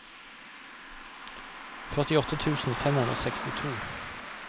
førtiåtte tusen fem hundre og sekstito